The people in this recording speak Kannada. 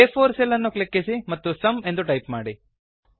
ಆ4 ಸೆಲ್ ಅನ್ನು ಕ್ಲಿಕ್ಕಿಸಿ ಮತ್ತು ಸುಮ್ ಎಂದು ಟೈಪ್ ಮಾಡಿ